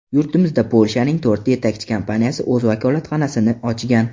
Yurtimizda Polshaning to‘rtta yetakchi kompaniyasi o‘z vakolatxonasini ochgan.